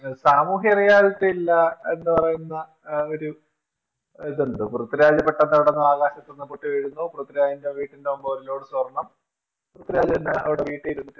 സാമൂഹ്യതാലിറ്റി ഇല്ല എന്നു പറയുന്ന ഒരു ഇത് ഉണ്ട് പൃഥ്വിരാജ് പെട്ടന്ന് അവിടന്ന് ആകാശത്തുന്നു പൊട്ടിവീഴുന്നു പൃഥ്വിരാജിന്റെ വീട്ടിന്റെ മുന്നിൽ ഒരു load സ്വാർണം പൃഥ്വിരാജ് തന്നെ വീട്ടിൽ ഇരുന്നിട്ട്